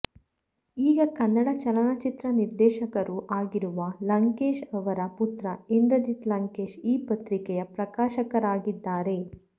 ಈಗ ಕನ್ನಡ ಚಲನಚಿತ್ರ ನಿರ್ದೇಶಕರೂ ಆಗಿರುವ ಲಂಕೇಶ್ ಅವರ ಪುತ್ರ ಇಂದ್ರಜಿತ್ ಲಂಕೇಶ್ ಈ ಪತ್ರಿಕೆಯ ಪ್ರಕಾಶಕರಾಗಿದ್ದಾರೆ